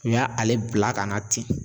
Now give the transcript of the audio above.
U y'ale bila ka na ten.